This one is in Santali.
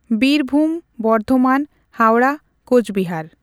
ᱵᱤᱨᱵᱷᱩᱢ, ᱵᱚᱨᱫᱷᱚᱢᱟᱱ, ᱦᱟᱣᱲᱟ, ᱠᱳᱪᱵᱤᱦᱟᱨ,